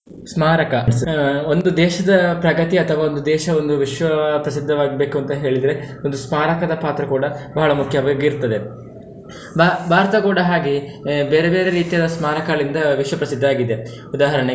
ಸ್ಮಾರಕ ಒಂದು ದೇಶದ ಪ್ರಗತಿ, ಅಥವಾ ಒಂದು ದೇಶ ಒಂದು ವಿಶ್ವ ಪ್ರಸಿದ್ಧವಾಗ್ಬೇಕು ಅಂತ ಹೇಳಿದ್ರೆ, ಒಂದು ಸ್ಮಾರಕದ ಪಾತ್ರ ಕೂಡ ಬಹಳ ಮುಖ್ಯವಾಗಿರ್ತದೆ ಅದು. ಭಾ~ ಭಾರತ ಕೂಡ ಹಾಗೆ ಬೇರೆ ಬೇರೆ ರೀತಿಯ ಸ್ಮಾರಕಗಳಿಂದ ವಿಶ್ವ ಪ್ರಸಿದ್ಧ ಆಗಿದೆ ಉದಾಹರಣೆಗೆ.